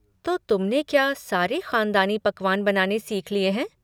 तो तुमने क्या सारे ख़ानदानी पकवान बनाने सीख लिए हैं?